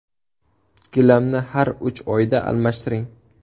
Gilamni har uch oyda almashtiring.